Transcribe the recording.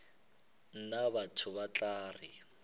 nna batho ba tla re